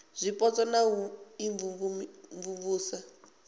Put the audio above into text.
dza zwipotso na u imvumvusa